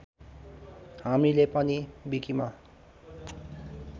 हामीले पनि विकीमा